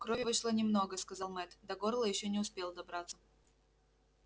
крови вышло немного сказал мэтт до горла ещё не успел добраться